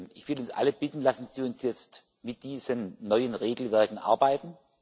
Ich will uns alle bitten Lassen Sie uns jetzt mit diesen neuen Regelwerken arbeiten.